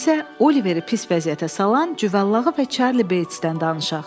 İndi isə Oliveri pis vəziyyətə salan cüvəllağı və Charlie Batesdən danışaq.